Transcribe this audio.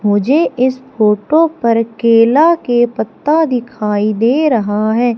मुझे इस फोटो पर केला के पत्ता दिखाई दे रहा है।